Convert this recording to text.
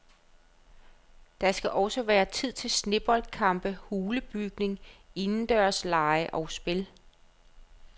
Der skal også være tid til sneboldkampe, hulebygning, indendørslege og spil.